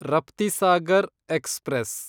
Raptisagar express